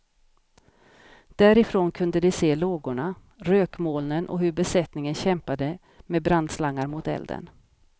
Därifrån kunde de se lågorna, rökmolnen och hur besättningen kämpade med brandslangar mot elden.